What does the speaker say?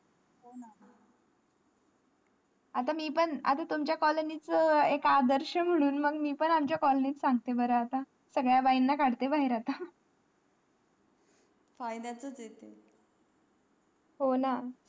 आता मी पण आता तुमच्या colony च एक आदर्श म्हणून मग मी पण आमच्या colony त सांगते बारा आता सगळ्या बाईन ला काढते बाहेर आता फायद्याच्याच हे ते हो ना